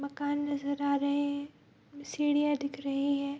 मकान नजर आ रहे हैं | सीढ़ियाँ दिख रही है |